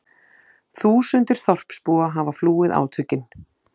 Þúsundir þorpsbúa hafa flúið átökin